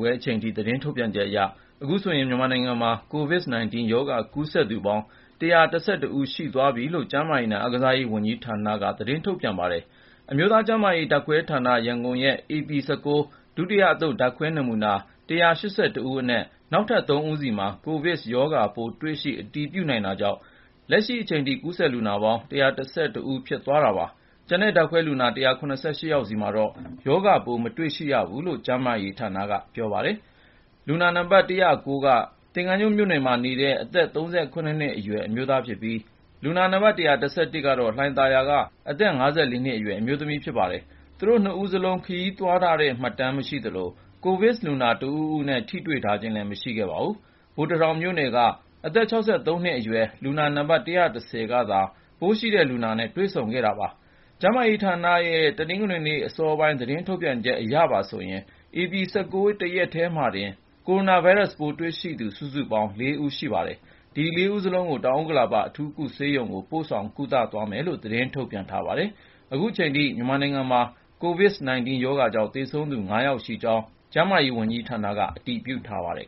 ွဲအချိန်ထိ သတင်းထုတ်ပြန်ချက်အရ အခုဆိုရင် မြန်မာနိုင်ငံမှာ COVID-19 ရောဂါ ကူးစက်ခံရသူပေါင်း ၁၁၁ ဦး ရှိသွားပြီလို့ ကျန်းမာရေးနဲ့ အားကစားဝန်ကြီးဌာနက သတင်းထုတ်ပြန်ပါတယ်။ အမျိုးသားကျန်းမာရေးဓာတ်ခွဲဌာန (ရန်ကုန်) ရဲ့ ဧပြီ ၁၉ ဒုတိယအသုတ် ဓာတ်ခွဲနမူနာ ၁၈၁ ဦးအနက် နောက်ထပ် ၃ ဦးဆီမှာ COVID ရောဂါပိုး တွေ့ရှိ အတည်ပြုနိုင်တာကြောင့် လက်ရှိအချိန်ထိ ကူးစက်လူနာပေါင်း ၁၁၁ ဦး ဖြစ်သွားတာပါ။ ကျန်တဲ့ ဓာတ်ခွဲလူနာ ၁၇၈ ယောက်ဆီမှာတော့ ရောဂါပိုး မတွေ့ရဘူးလို့ ကျန်းမာရေးဌာနက ပြောပါတယ်။ လူနာနံပါတ် ၁၀၉ က သင်္ဃန်းကျွန်းမြို့နယ်မှာနေတဲ့ အသက် ၃၇ နှစ်အရွယ် အမျိုးသားဖြစ်ပြီး လူနာနံပါတ် ၁၁၁ ကတော့ လှိုင်သာယာက အသက် ၅၄ နှစ်အရွယ် အမျိုးသမီး ဖြစ်ပါတယ်။ သူတို့ ၂ ဦးစလုံး ခရီးသွားထားတဲ့ မှတ်တမ်းမရှိသလို ကိုဗစ်လူနာ တဦးဦးနဲ့ ထိတွေ့ခဲ့ခြင်းလည်း မရှိပါဘူး။ ဗိုလ်တထောင်မြို့နယ်က အသက် ၆၃ နှစ်အရွယ် လူနာနံပါတ် ၁၁၀ ကသာ ပိုးရှိတဲ့လူနာနဲ့ တွေ့ဆုံခဲ့တာပါ။ ကျန်းမာရေးဌာနရဲ့ တနင်္ဂနွေည အစောပိုင်း သတင်းထုတ်ပြန်ချက်အရပါဆိုရင် ဧပြီ ၁၉ တရက်တည်းမှာတင် ကိုရိုနာဗိုင်းရပ်စ်ပိုး တွေ့ရှိသူ စုစုပေါင်း ၄ ဦး ရှိပါတယ်။ ဒီ ၄ ဦးစလုံးကို တောင်ဥက္ကလာပ အထူးကုဆေးရုံကို ပို့ဆောင် ကုသသွားမယ်လို့လည်း သတင်းထုတ်ပြန်ထားပါတယ်။ အခုချိန်ထိ မြန်မာနိုင်ငံမှာ COVID-19 ရောဂါကြောင့် သေဆုံးသူ ၅ ယောက်ရှိကြောင်းလည်း ကျန်းမာရေးဝန်ကြီးဌာနက အတည်ပြုထားပါတယ်